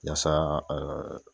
Yasa